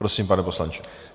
Prosím, pane poslanče.